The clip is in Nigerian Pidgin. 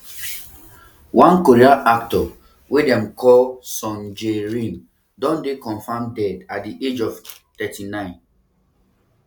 one korean actor wey actor wey dem dey call song jae rim don dey confirmed dead at di age of thirty-nine